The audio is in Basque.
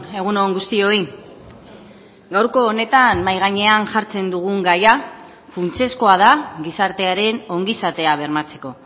egun on guztioi gaurko honetan mahai gainean jartzen dugun gaia funtsezkoa da gizartearen ongizatea bermatzeko